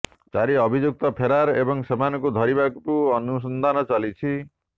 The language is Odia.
ଚାରି ଅଭିଯୁକ୍ତ ଫେରାର ଏବଂ ସେମାନଙ୍କୁ ଧରିବାକୁ ଅନୁସନ୍ଧାନ ଚାଲିଛି